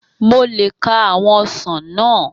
Mo le ka àwọn ọsàn náà